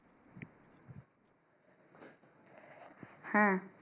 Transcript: হ্যাঁ